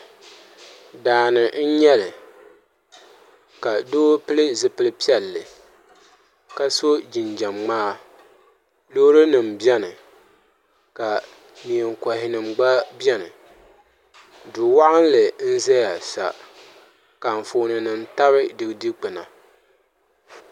Daani n nyɛli ka doo pili zipili piɛlli ka so jinjɛm ŋmaa loori nim biɛni ka neen kohi nim gba biɛni du waɣanli n ʒɛya sa ka anfooni nim tabi di dikpuna